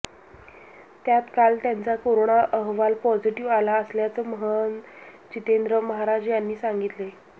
त्यात काल त्यांचा कोरोना अहवाल पॉझिटिव्ह आला असल्याचं महंत जितेंद्र महाराज यांनी सांगितले